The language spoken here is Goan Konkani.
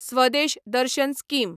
स्वदेश दर्शन स्कीम